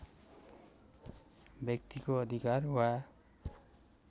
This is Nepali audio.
व्यक्तिको अधिकार वा